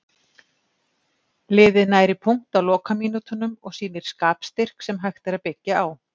Liðið nær í punkt á lokamínútunum og sýnir skapstyrk sem hægt er að byggja á.